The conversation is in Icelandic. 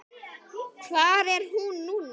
Hvar er hún núna?